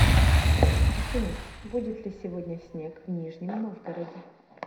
афина будет ли сегодня снег в нижнем новгороде